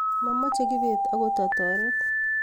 mamache kibet agot ataret